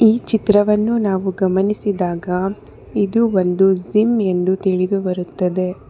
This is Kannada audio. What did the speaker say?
ಈ ಚಿತ್ರವನ್ನು ನಾವು ಗಮನಿಸಿದಾಗ ಇದು ಒಂದು ಜಿಮ್ ಎಂದು ತಿಳಿದು ಬರುತ್ತದೆ.